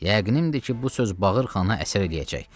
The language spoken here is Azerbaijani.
Yəqinimdir ki, bu söz Bağırxana əsər eləyəcək.